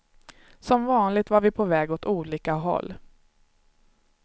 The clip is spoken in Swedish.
Som vanligt var vi på väg åt olika håll.